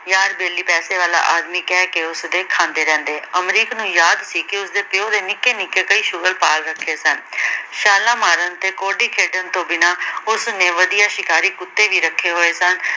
ਯਾਰ-ਵੇਲ਼ੀ ਪੈਸੇ ਵਾਲਾ ਆਦਮੀ ਕਹਿਕੇ ਉਸਦੇ ਖਾਂਦੇ ਰਹਿੰਦੇ। ਅਮਰੀਕ ਨੂੰ ਯਾਦ ਸੀ ਕੇ ਉਸਦੇ ਪਿਉ ਦੇ ਨਿੱਕੇ- ਨਿੱਕੇ ਕਈ ਸ਼ੁਅਰ ਪਾਲ ਰੱਖੇ ਸਨ। ਛਾਲਾਂ ਮਾਰਨ ਤੇ ਕੌਡੀ ਖੇਡਣ ਤੋਂ ਬਿਨਾ ਉਸਨੇ ਵਧੀਆ ਸ਼ਿਕਾਰੀ ਕੁੱਤੇ ਵੀ ਰੱਖੇ ਹੋਏ ਸਨ।